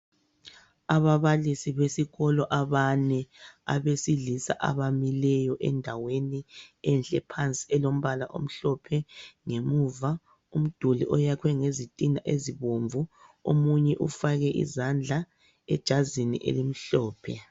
Ababalisi besikolo abane abesilisa abamileyo endaweni enhle phansi elombala omhlophe ngemuva. Umduli oyakhwe ngezitina ezibomvu omunye ufake izandla ejazini elimhlophe.